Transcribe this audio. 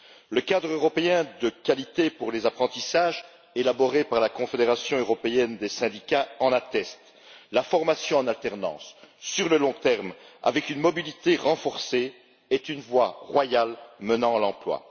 Le cadre de qualité européen pour les apprentissages, élaboré par la Confédération européenne des syndicats, l'atteste la formation en alternance sur le long terme avec une mobilité renforcée est une voie royale menant à l'emploi.